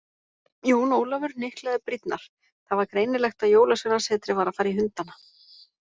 Jón Ólafur hnyklaði brýnnar, það var greinilegt að Jólasveinasetrið var að fara í hundana.